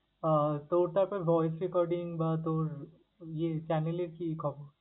আহ তোর তারপর voice recording বা তোর ইয়ে channel এর কি খবর?